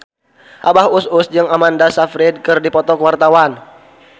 Abah Us Us jeung Amanda Sayfried keur dipoto ku wartawan